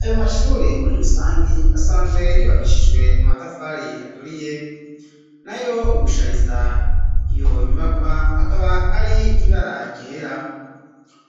Ayo mashure muri rusangi asanzwe yubakishijwe amatafari aturiye nayo ugushariza iyo nyubakwa akaba ari ibara ryera